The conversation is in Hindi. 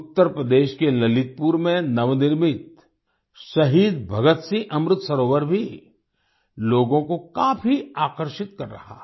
उत्तर प्रदेश के ललितपुर में नवनिर्मित शहीद भगत सिंह अमृत सरोवर भी लोगों को काफी आकर्षित कर रहा है